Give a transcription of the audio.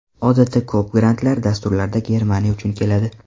Odatda ko‘p grantlar, dasturlar Germaniya uchun keladi.